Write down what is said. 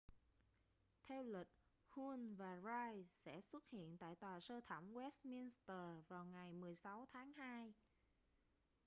theo lịch huhne và pryce sẽ xuất hiện tại tòa sơ thẩm westminster vào ngày 16 tháng hai